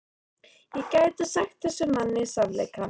Ég gæti sagt þessum manni sannleikann.